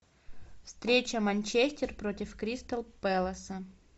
встреча манчестер против кристал пэласа